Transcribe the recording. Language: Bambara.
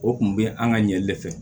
O kun bɛ an ka ɲɛ de fɛ